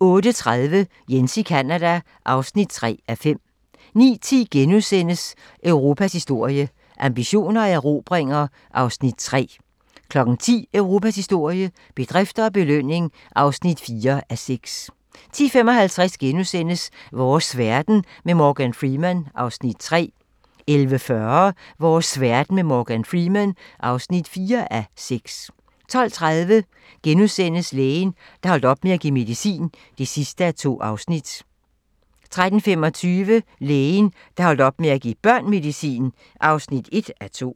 08:30: Jens i Canada (3:5) 09:10: Europas historie - ambitioner og erobringer (3:6)* 10:00: Europas historie - bedrifter og belønning (4:6) 10:55: Vores verden med Morgan Freeman (3:6)* 11:40: Vores verden med Morgan Freeman (4:6) 12:30: Lægen, der holdt op med at give medicin (2:2)* 13:25: Lægen, der holdt op med at give børn medicin (1:2)